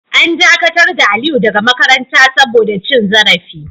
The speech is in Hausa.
An dakatar da Aliyu daga makaranta saboda cin zarafi.